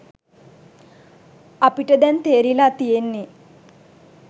අපිට දැන් තේරිලා තියෙන්නේ